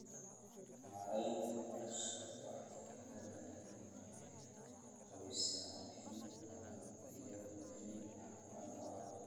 Maareynta noolaha waxyeelada leh waxay hubisaa in dalagyadu ay caafimaad qabaan.